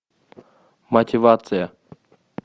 мотивация